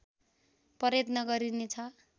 प्रयत्न गरिनेछ